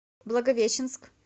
благовещенск